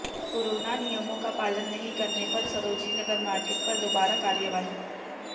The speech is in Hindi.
कोरोना नियमों का पालन नहीं करने पर सरोजनी नगर मार्केट पर दोबारा कार्रवाई